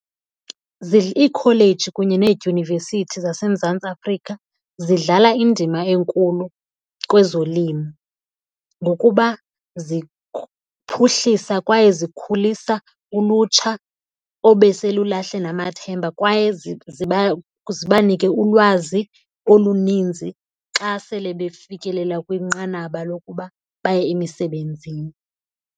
Iikholeji kunye needyunivesithi zaseMzantsi Afrika zidlala indima enkulu kwezolimo ngokuba ziphuhlisa kwaye zikhulisa ulutsha obeselulahle namathemba kwaye ziba nike ulwazi oluninzi xa sele befikelela kwinqanaba lokuba baye emisebenzini.